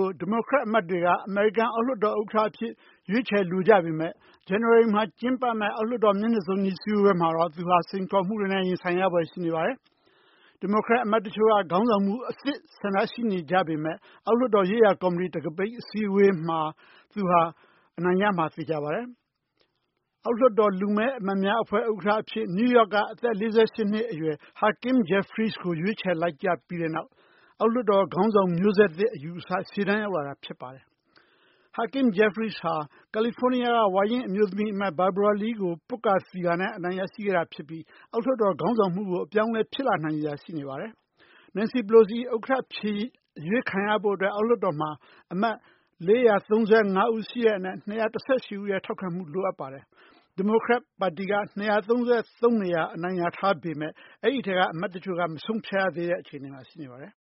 ု ဒီမိုကရက်အမတ်တွေက အောက်လွှတ်တော် ဥက္ကဋ္ဌအဖြစ် ရွေးချယ်လိုကြပေမယ့် ဇန်နဝါရီလမှာ ကျင်းပမယ့် အောက်လွှတ်တော် မျက်နှာစုံညီ စည်းဝေးပွဲမှာတော့ သူဟာ စိန်ခေါ်မှုတွေနဲ့ ရင်ဆိုင်ရဖွယ် ရှိနေပါတယ်။ ဒီမိုကရက်အမတ်တချို့က ခေါင်းဆောင်မှုအသစ် ဆန္ဒရှိနေကြပေမယ့် အောက်လွှတ်တော်ရေးရာကော်မီတီ တံခါးပိတ် အစည်းအဝေးမှာ သူဟာ အနိုင်ရမှာ သေချာပါတယ်။ အောက်လွှတ်တော် လူမည်းအမတ်များဥက္ကဋ္ဌအဖြစ် နယူးယောက်ပြည်နယ်က အသက် ၄၈ နှစ်အရွယ် Hakeem Jeffries ကို ရွေးချယ်လိုက်ကြ ပြီးတဲ့နောက် အောက်လွှတ်တော်ခေါင်းဆောင် မျိုးဆက်သစ် အယူအဆ ရှေ့တန်း ရောက်လာတာ ဖြစ်ပါတယ်။ Hakeem Jeffries ဟာ ကာလီဖိုးနီးယားပြည်နယ်က ဝါရင့် အမျိုးသမီးလွှတ်တော်အမတ် Barbara Lee ကို ပွတ်ကာ သီကာနဲ့ အနိုင် ရရှိခဲ့တာ ဖြစ်ပြီး အောက်လွှတ်တော် ခေါင်းဆောင်မှုကို အပြောင်းအလဲ ဖြစ်လာနိုင်စရာ ရှိနေပါတယ်။ Nancy Pelosi အောက်လွှတ်တော်ဥက္ကဋ္ဌအဖြစ် အရွေးခံရဖို့အတွက် အောက်လွှတ်တော်မှာ အမတ် ၄၃၅ ဦး ရှိတဲ့အနက် ၂၁၈ ဦးရဲ့ ထောက်ခံမှု လိုအပ်ပါတယ်။ ဒီမိုကရက်ပါတီက ၂၃၃ နေရာ အနိုင်ရထားပေမယ့် အဲဒီအထဲက အမတ်တချို့က မဆုံးဖြတ်ရသေးတဲ့ အခြေအနေမှာ ရှိနေပါတယ်။